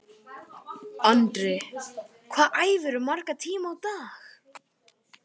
Andri: Hvað æfirðu marga tíma á dag?